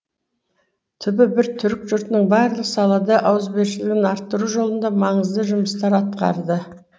түбі бір түркі жұртының барлық салада ауызбіршілігін арттыру жолында маңызды жұмыстар атқарды